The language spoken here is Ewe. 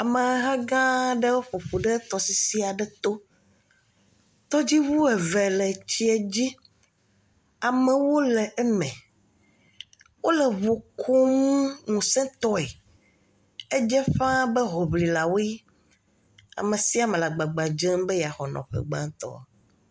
Ameha gã ɖe ƒoƒu ɖe tɔsisi aɖe to. Todziʋu eve le tsia dzi. Amewo le eme. Wole ʋu kum ŋuse tɔe. Edze ƒã be hloƒlilawoe. Ame sia ame le agbagba dzem be yaxɔ nɔƒe gbãtɔ.